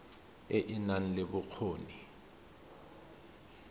e e nang le bokgoni